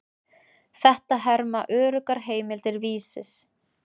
Þetta herma öruggar heimildir Vísis.